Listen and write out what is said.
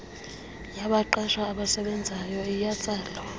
yabaqeshwa abasebenzayo iyatsalwa